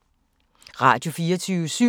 Radio24syv